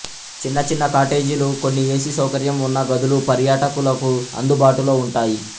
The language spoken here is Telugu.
చిన్న చిన్న కాటేజీలు కొన్ని ఏసీ సౌకర్యం ఉన్న గదులు పర్యాటకులకు అందుబాటులో ఉంటాయి